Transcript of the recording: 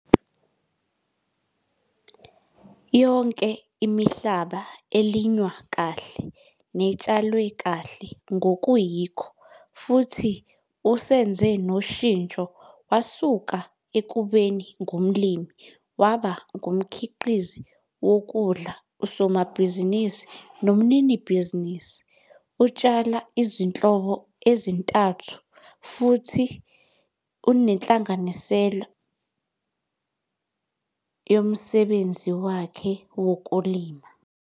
Yonke imihlaba elinywa kahle netshalwe ngokuyikho futhi usenze noshintsho wasuka ekubeni ngumlimi waba ngumkhiqizi wokudla, usomabhizinisi nomninibhizinisi. Utshala izinhlobo ezintathu zezilimo, futhi unenhlanganisela yemfuyo njengengxenye yomsebenzi wakhe wokulima.